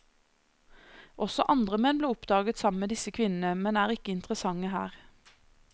Også andre menn ble oppdaget sammen med disse kvinnene, men er ikke interessante her.